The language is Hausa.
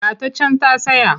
Ga ta can a tsaye.